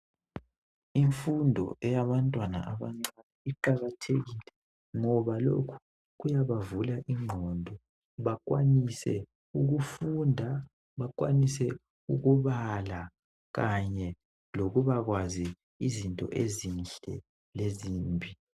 imfundo eyabantwana abancane iqakathekile ngoba lokhu kuyabavula inqondo bakwanise ukufunda bakwanise ukubala kanye lokubakwazi izinto ezinhle lezimbi